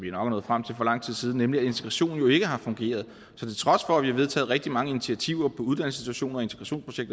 er nået frem til for lang tid siden at integrationen jo ikke har fungeret så til trods for at vi har vedtaget rigtig mange initiativer på uddannelsesinstitutioner